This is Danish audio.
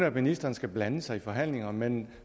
at ministeren skal blande sig i forhandlingerne men